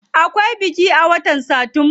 Akwai biki a watan satumba.